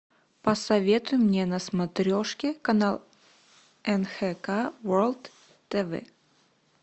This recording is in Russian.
посоветуй мне на смотрешке канал нхк ворлд тв